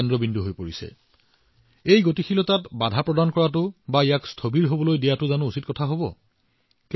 আপোনালোকে মোক কওঁক এই গতি এতিয়া বন্ধ হব লাগে নেকি ইয়াক বন্ধ হবলৈ দিব লাগে নেকি